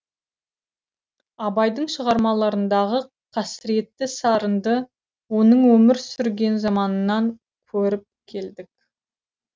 абайдың шығармаларындағы қасіретті сарынды оның өмір сүрген заманынан көріп келдік